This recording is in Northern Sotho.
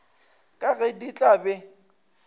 ka ge di tla be